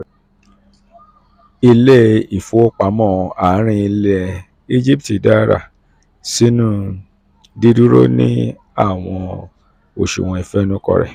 ile-ifowopamọ àárín ilẹ̀ egipti dárà sínú didúró ní àwọn oṣuwọn ìfẹnukò rẹ̀.